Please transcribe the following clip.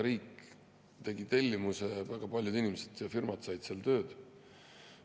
Riik tegi tellimuse ja väga paljud inimesed ja firmad said seal tööd.